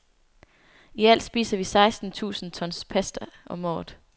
I alt spiser vi seksten tusind tons pasta om året.